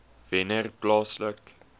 wennerplaaslike